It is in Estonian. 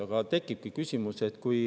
Aga siis tekibki küsimus.